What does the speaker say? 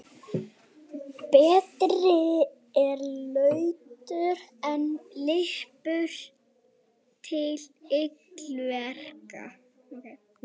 Það er af þeim sökum stundum flokkað undir lesblindu.